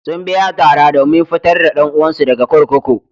Sun biya tara domin fitar da ɗan uwansu daga kurkuku.